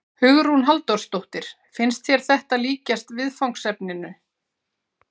Hugrún Halldórsdóttir: Finnst þér þetta líkjast viðfangsefninu?